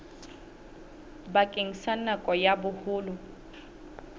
bakeng sa nako ya boholo